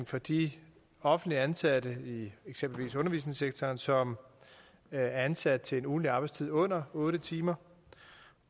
for de offentligt ansatte i eksempelvis undervisningssektoren som er ansat til en ugentlig arbejdstid under otte timer